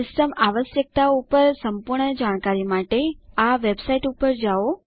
system આવશ્યકતાઓ પર સંપૂર્ણ જાણકારી માટે httpwwwlibreofficeorgget helpsystem requirements વેબસાઈટ ઉપર જાઓ